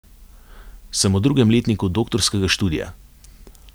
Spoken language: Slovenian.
Sem v drugem letniku doktorskega študija.